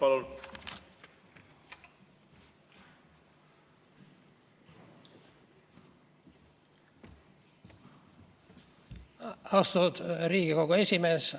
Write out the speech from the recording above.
Austatud Riigikogu esimees!